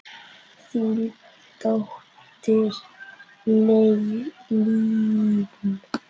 Þín dóttir, Elín.